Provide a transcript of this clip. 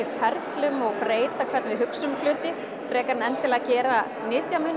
ferlum og breyta hvernig við hugsum um hluti frekar en endilega að gera